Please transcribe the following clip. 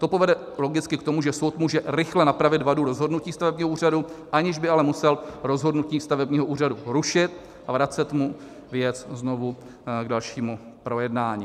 To povede logicky k tomu, že soud může rychle napravit vadu rozhodnutí stavebního úřadu, aniž by ale musel rozhodnutí stavebního úřadu rušit a vracet mu věc znovu k dalšímu projednání.